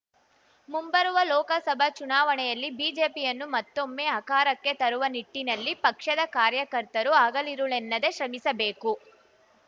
ಮುಂಬರುವ ಲೋಕಸಭಾ ಚುನಾವಣೆಯಲ್ಲಿ ಬಿಜೆಪಿಯನ್ನು ಮತ್ತೊಮ್ಮೆ ಅಕಾರಕ್ಕೆ ತರುವ ನಿಟ್ಟಿನಲ್ಲಿ ಪಕ್ಷದ ಕಾರ್ಯಕರ್ತರು ಹಗಲಿರುಳೆನ್ನದೇ ಶ್ರಮಿಸಬೇಕು